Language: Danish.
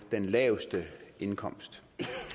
den laveste indkomst